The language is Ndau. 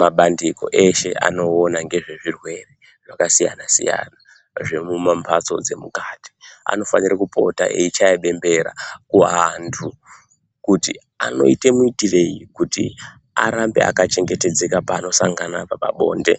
Mabandiko eshe anoona ngezvezvirwere zvakasiyana siyana zvemumambatso dzemukati anofanire kupota eyichaya bembera kuantu kuti anoite muitireyi kuti arambe akachengetedzeka panosangana pabonde